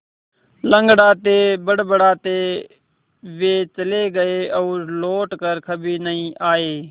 लँगड़ाते बड़बड़ाते वे चले गए और लौट कर कभी नहीं आए